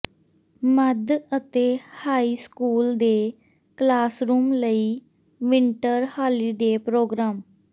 ਮੱਧ ਅਤੇ high school ਦੇ classroom ਲਈ ਵਿੰਟਰ ਹਾਲੀਡੇ ਪ੍ਰੋਗਰਾਮ